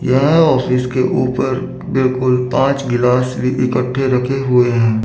यहां ऑफिस के ऊपर बिल्कुल पांच गिलास भी इकठ्ठे रखे हुए हैं।